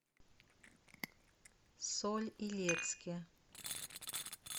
соль илецке